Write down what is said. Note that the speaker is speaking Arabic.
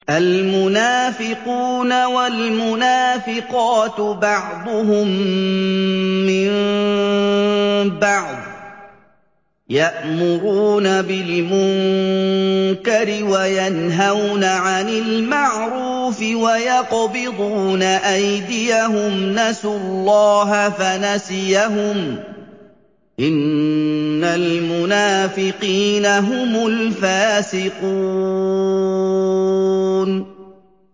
الْمُنَافِقُونَ وَالْمُنَافِقَاتُ بَعْضُهُم مِّن بَعْضٍ ۚ يَأْمُرُونَ بِالْمُنكَرِ وَيَنْهَوْنَ عَنِ الْمَعْرُوفِ وَيَقْبِضُونَ أَيْدِيَهُمْ ۚ نَسُوا اللَّهَ فَنَسِيَهُمْ ۗ إِنَّ الْمُنَافِقِينَ هُمُ الْفَاسِقُونَ